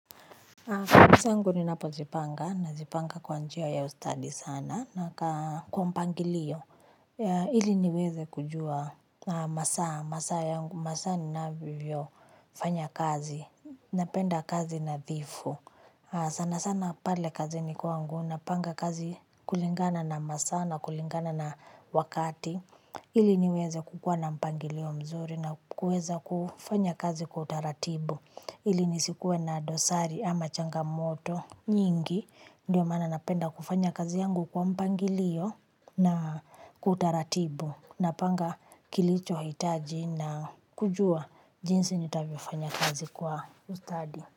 Shughuli zangu ninapozipanga nazipanga kwa njia ya ustadi sana na kwa mpangilio ili niweze kujua masaa yangu. Masaa ninavyofanya kazi. Napenda kazi nadhifu. Sana sana pale kazi ni kwangu napanga kazi kulingana na masaa na kulingana na wakati ili niweze kukuwa na mpangilio mzuri na kuweza kufanya kazi kwa utaratibu ili nisikuwe na dosari ama changamoto nyingi. Ndio maana napenda kufanya kazi yangu kwa mpangilio na kwa utaratibu. Napanga kilichohitaji na kujua jinsi nitavyofanya kazi kwa ustadi.